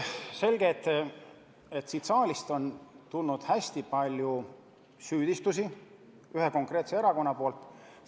Selge, et siit saalist on tulnud hästi palju süüdistusi ühelt konkreetselt erakonnalt.